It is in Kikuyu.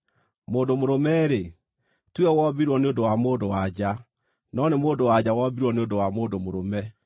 Mũndũ mũrũme-rĩ, tiwe wombirwo nĩ ũndũ wa mũndũ-wa-nja, no nĩ mũndũ-wa-nja wombirwo nĩ ũndũ wa mũndũ mũrũme.